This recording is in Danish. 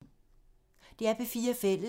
DR P4 Fælles